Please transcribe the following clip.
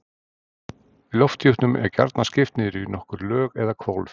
Lofthjúpnum er gjarnan skipt niður í nokkur lög eða hvolf.